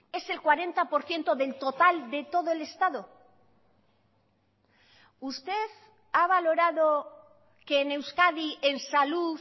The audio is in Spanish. es el cuarenta por ciento del total de todo el estado usted ha valorado que en euskadi en salud